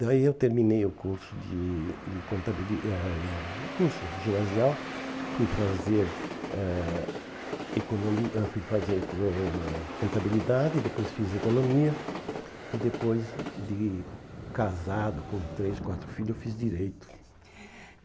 Daí eu terminei o curso de de contabili eh curso ginasial, fui fazer eh economi eh fui fazer contabilidade, depois fiz economia e depois de casado com três, quatro filhos, fiz direito.